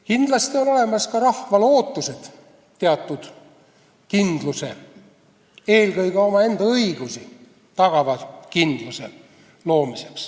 Kindlasti on ka rahval ootus, et on loodud teatud kindlus, eelkõige tema enda õigusi tagav kindlus.